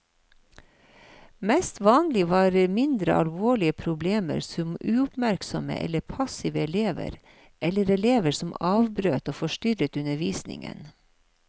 Mest vanlig var mindre alvorlige problemer, som uoppmerksomme eller passive elever, eller elever som avbrøt og forstyrret undervisningen.